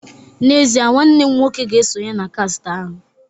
N'ezie, nwanne m nwoke ga esonye na kast ahu